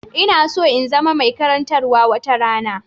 Ina so in zama mai karantawa wata rana.